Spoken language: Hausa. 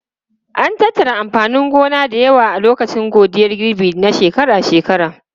An tattara amfanin gona da yawa a lokacin godiyar girbi na shekara-shekara.